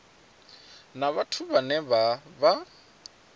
na vhathu vhane vha vha